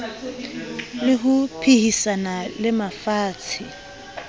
le ho phehisana le mafatshe